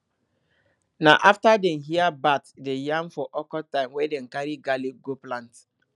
na afta dem hear bat dey yarn for awkward time wey dem carry garlic go plant